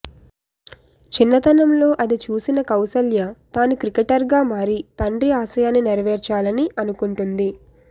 చిన్నతనంలో అది చూసిన కౌసల్య తాను క్రికెటర్గా మారి తండ్రి ఆశయాన్ని నెరవేర్చాలని అనుకుంటుంది